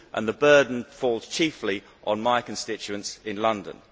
The burden falls chiefly on my constituents in London.